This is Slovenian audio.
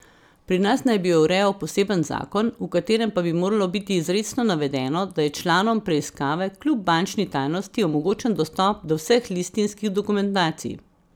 Pri nas naj bi jo urejal poseben zakon, v katerem pa bi moralo biti izrecno navedeno, da je članom preiskave kljub bančni tajnosti omogočen dostop do vseh listinskih dokumentacij.